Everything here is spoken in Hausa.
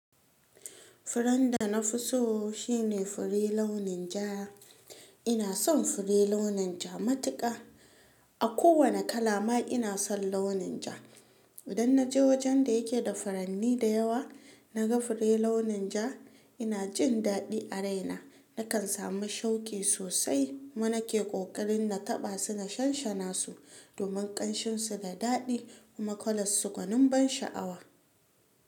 Furen da na fi so shine fure launin ja. Ina son fure launin ja matuƙa. A kowane kala ma ina son launin ja. Idan na je wajen da yake da furanni da yawa na ga fure launin ja ina jin daɗi a raina. Nakan samu shauƙi sosai kuma nake ƙoƙarin na taɓa su na shanshana su domin ƙanshin su da daɗi kuma kwala su gwanin ban sha'awa.